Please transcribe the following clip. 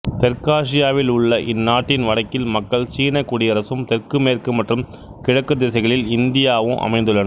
தெற்காசியாவில் உள்ள இந்நாட்டின் வடக்கில் மக்கள் சீன குடியரசும் தெற்கு மேற்கு மற்றும் கிழக்குத் திசைகளில் இந்தியாவும் அமைந்துள்ளன